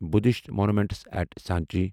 Buddhist monuments إٹھ سانچہ